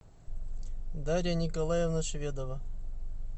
дарья николаевна шведова